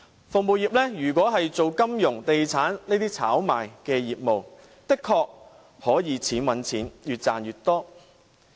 服務業如果是從事金融或地產這些炒賣的業務，的確可以"錢搵錢"，越賺越多。